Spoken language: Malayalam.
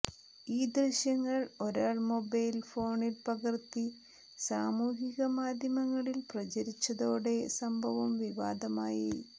ഈ ദൃശ്യങ്ങൾ ഒരാൾ മൊബൈൽ ഫോണിൽ പകർത്തി സാമൂഹിക മാധ്യമങ്ങളിൽ പ്രചരിപ്പിച്ചതോടെ സംഭവം വിവാദമായി